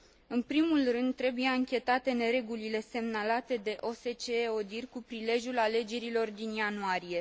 În primul rând, trebuie anchetate neregulile semnalate de OSCE ODIHR cu prilejul alegerilor din ianuarie.